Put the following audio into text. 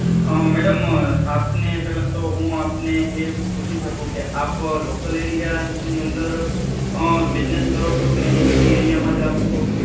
અમ madam આપને પહેલા તો હું આપને પૂછી શકું કે? આપ local area ની અંદર અમ business કરો છો કે અહી city area મા જ આપ છો.